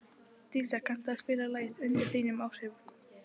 Dísa, kanntu að spila lagið „Undir þínum áhrifum“?